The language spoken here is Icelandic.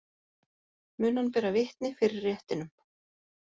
Mun hann bera vitni fyrir réttinum